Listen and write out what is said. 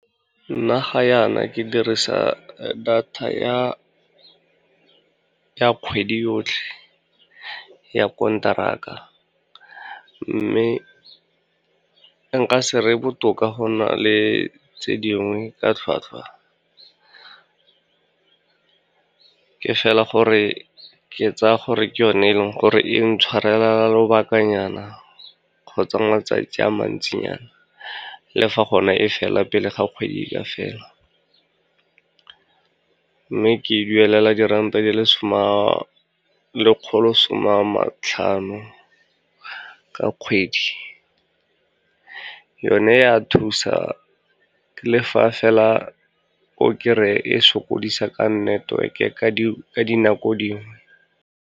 Nna ga yana ke dirisa data ya kgwedi yotlhe ya konteraka, mme nka se re e botoka go na le tse dingwe ka tlhwatlhwa. Ke fela gore ke tsaya gore ke yone, e leng gore e ntshwarelela lobakanyana kgotsa matsatsi a mantsinyana, le fa gone e fela pele ga kgwedi e ka fela. Mme ke e duelela diranta di le lekgolo some a matlhano ka kgwedi. Yone ya thusa le fa fela o kry-e sokodise ka network-e ka dinako dingwe.